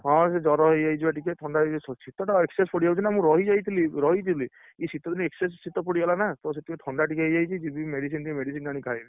ହଁ, ବା ସିଏ ଜର ହେଇଯାଇଛି ବା ଟିକେ ଥଣ୍ଡା ଶୀତ ଟା excess ପଡ଼ିଯାଉଛି ନା ମୁଁ ରହିଯାଇଥିଲି ରହିଥିଲି ଇଏ ଶୀତ ଦିନେ excess ଶୀତ ପଡିଗଲା ନା ତ ସେଇଥିପାଇଁ ଥଣ୍ଡା ଟିକେ ହେଇଯାଇଛି ଜୀବି medicine ଟିକେ medicine ଆଣି ଖାଇବି।